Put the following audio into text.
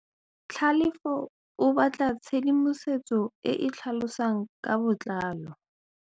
Tlhalefô o batla tshedimosetsô e e tlhalosang ka botlalô.